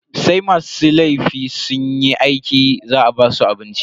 Sai masu laifin sunyi aiki za a basu abinci.